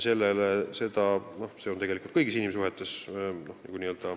See on tegelikult kõigis inimsuhetes nii.